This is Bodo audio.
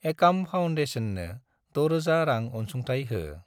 एकाम फाउन्डेसननो 6000 रां अनसुंथाइ हो।